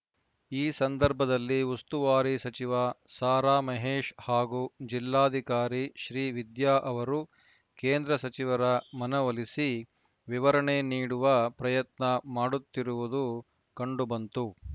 ಈ ಸಂದರ್ಭದಲ್ಲಿ ಉಸ್ತುವಾರಿ ಸಚಿವ ಸಾರಾ ಮಹೇಶ್‌ ಹಾಗೂ ಜಿಲ್ಲಾಧಿಕಾರಿ ಶ್ರೀವಿದ್ಯಾ ಅವರು ಕೇಂದ್ರ ಸಚಿವರ ಮನವೊಲಿಸಿ ವಿವರಣೆ ನೀಡುವ ಪ್ರಯತ್ನ ಮಾಡುತ್ತಿರುವುದು ಕಂಡುಬಂತು